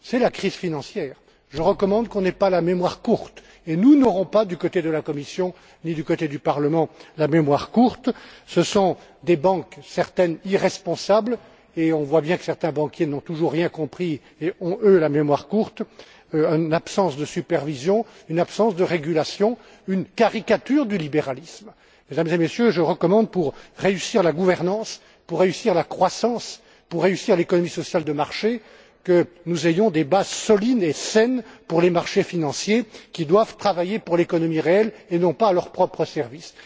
C'est la crise financière je recommande qu'on n'ait pas la mémoire courte et nous ne l'aurons pas, ni du côté de la Commission, ni du côté du Parlement ce sont des banques certaines irresponsables, et on voit bien que certains banquiers n'ont toujours rien compris et ont, eux, la mémoire courte une absence de supervision, une absence de régulation et une caricature du libéralisme. Mesdames et messieurs, je recommande pour réussir la gouvernance, pour réussir la croissance, pour réussir l'économie sociale de marché que nous ayons des bases solides et saines pour les marchés financiers qui doivent travailler pour l'économie réelle et non pas à leur propre service.